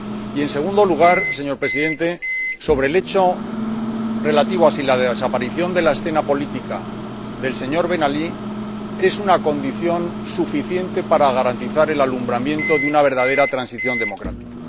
Y en segundo lugar, señor Presidente, sobre el hecho relativo a si la desaparición de la escena política del señor Ben Ali es una condición suficiente para garantizar el alumbramiento de una verdadera transición democrática.